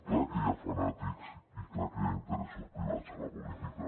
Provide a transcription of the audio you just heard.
clar que hi ha fanàtics i clar que hi ha interessos privats a la política